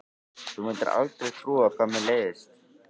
Þú mundir aldrei trúa hvað mér leiðist.